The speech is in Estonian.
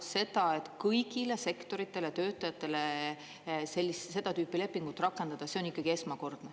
Seda, et kõigile sektoritele ja töötajatele seda tüüpi lepingud rakendada, see on ikkagi esmakordne.